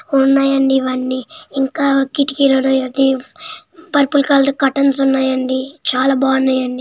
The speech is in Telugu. ఉన్నాయండి ఇవన్నీ ఇంకా కిటికీలు ఉన్నాయండి పర్పు లు కలర్ కర్టన్స్ ఉ న్నాయండి చాలా బాగున్నాయండి.